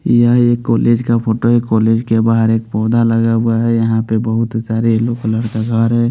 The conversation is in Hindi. यह एक कॉलेज का फोटो है कॉलेज के बाहर एक पौधा लगा हुआ है यहां पे बहुत सारे येलो कलर का घर है।